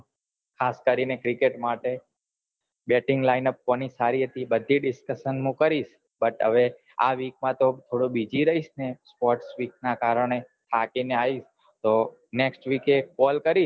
ખાસ કરી ને cricket માટે batting line અપ કોની સારી હતી બઘી discussion હું કરીસ but હવે આ week માં થોડોક બીજી રહીસ ને તો થાકી ને આવીશ તો next week એ call કરીસ